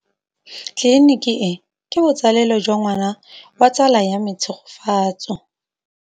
Tleliniki e, ke botsalêlô jwa ngwana wa tsala ya me Tshegofatso.